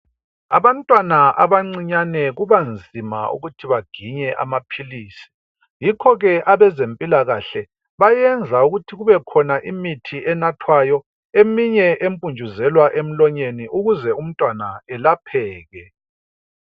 Abantwana abancinyane kubanzima ukuthi baginye amaphilisi. Yikho ke abezempilakahle bayenza ukuthi kubekhona imithi enathwayo eminye empuntshuzelwa emlonyeni ukuze umntwana elapheke.